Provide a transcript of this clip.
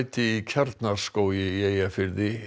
í Kjarnaskógi í Eyjafirði